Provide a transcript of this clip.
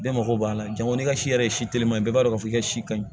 Bɛɛ mago b'a la jango ni ka si yɛrɛ ye si telima ye bɛɛ b'a dɔn k'a fɔ ka si ka ɲi